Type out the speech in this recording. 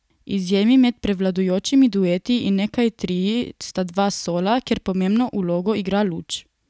Izjemi med prevladujočimi dueti in nekaj trii sta dva sola, kjer pomembno vlogo igra luč.